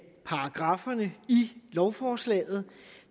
paragrafferne i lovforslaget